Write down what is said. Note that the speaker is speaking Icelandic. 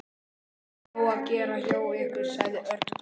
Alltaf nóg að gera hjá ykkur sagði Örn glottandi.